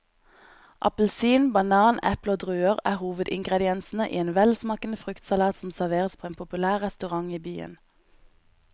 Appelsin, banan, eple og druer er hovedingredienser i en velsmakende fruktsalat som serveres på en populær restaurant i byen.